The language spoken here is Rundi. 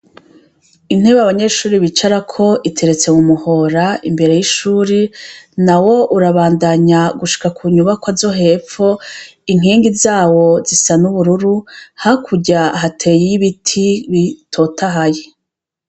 intebe abanyeshuri bicarako iteretse mu muhora imbere y'ishuri na wo urabandanya gushika ku nyubakwa zo hepfo inkingi zawo zisa n' ubururu hakurya hateye y'ibiti bitotahaye